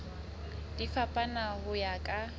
di fapana ho ya ka